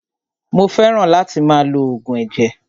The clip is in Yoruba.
Mó fẹràn láti máa lo oògùn ẹ̀jẹ̀.